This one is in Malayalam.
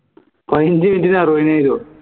പതിനജ് minute നു അറുപത്തിനായിരോ